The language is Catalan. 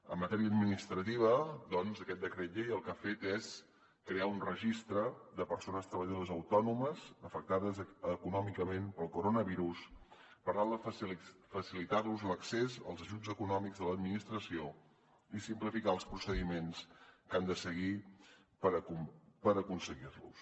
en matèria administrativa aquest decret llei el que ha fet és crear un registre de persones treballadores autònomes afectades econòmicament pel coronavirus per tal de facilitar los l’accés als ajuts econòmics de l’administració i simplificar els procediments que han de seguir per aconseguir los